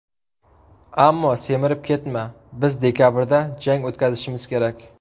Ammo semirib ketma, biz dekabrda jang o‘tkazishimiz kerak.